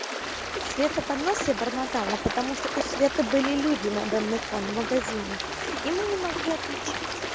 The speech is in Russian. света под нос себе бормотала потому что у светы были люди на данный кон в магазине и мы не могли отвечать